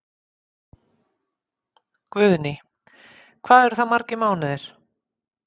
Guðný: Hvað eru það margir mánuðir?